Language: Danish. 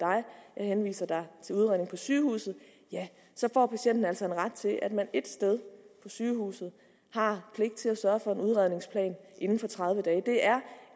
henviser til udredning på sygehuset så får patienten altså en ret til at man et sted på sygehuset har pligt til at sørge for en udredningsplan inden for tredive dage det er